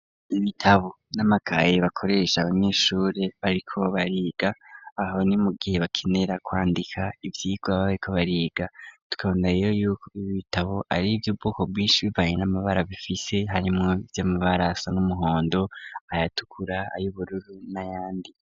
Ibitabo, n'amakayi bakoresha abanyeshure bariko bariga, aho ni mu gihe bakenera kwandika ivyigwa baba bariko bariga, tukabona rero yuko ibi bitabo ari ivy'ubwoko bwinshi bivanye n'amabara bifise, harimwo ivy'amabara asa n'umuhondo, ayatukura, ayubururu n'ayandi.